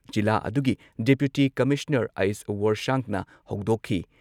ꯖꯤꯂꯥ ꯑꯗꯨꯒꯤ deputy commissioner H. ꯋꯣꯔꯁꯥꯡꯅ ꯍꯧꯗꯣꯛꯈꯤ ꯫